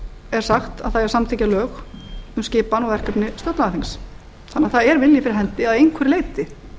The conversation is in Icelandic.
er sagt að það eigi að samþykkja lög um skipan og verkefni stjórnlagaþings þannig að það er vilji fyrir hendi að einhverju leyti